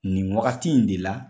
Nin wagati in de la